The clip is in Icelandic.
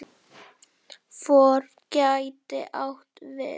FOR gæti átt við